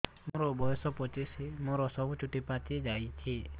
ମୋର ବୟସ ପଚିଶି ମୋର ସବୁ ଚୁଟି ପାଚି ଯାଇଛି